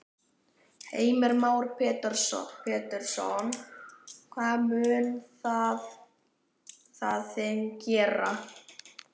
Heimir Már Pétursson: Hvað mun það þing gera?